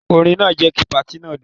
Orin náà jẹ́ kí patí náà dùn.